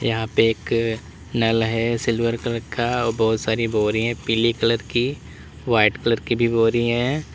यहां पे एक नल है सिल्वर कलर का और बहुत सारी बोरी हैं पीले कलर की वाइट कलर की भी बोरी हैं।